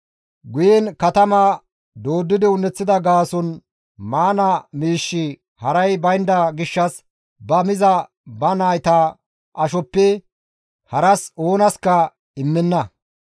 Guyen katama dooddidi un7eththida gaason maana miishshi haray baynda gishshas ba miza ba nayta ashoppe haras oonaska immenna.